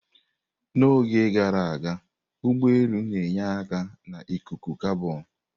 N'oge gara aga, ụgbọ elu na-enye aka na ikuku kabọn.